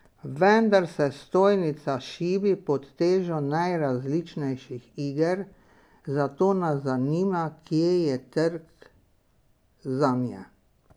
Vendar se stojnica šibi pod težo najrazličnejših iger, zato nas zanima, kje je trg zanje.